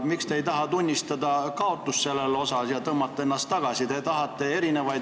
Miks te ei taha tunnistada kaotust selles asjas ja ennast tagasi tõmmata?